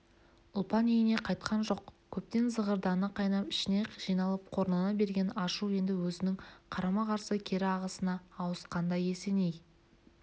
ұлпан үйіне қайтқан жоқ көптен зығырданы қайнап ішіне жиналып қорлана берген ашу енді өзінің қарама-қарсы кері ағысына ауысқандай есеней